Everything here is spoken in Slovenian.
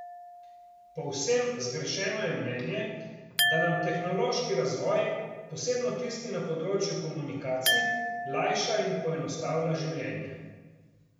Povsem zgrešeno je mnenje, da nam tehnološki razvoj, posebno tisti na področju komunikacij, lajša in poenostavlja življenje.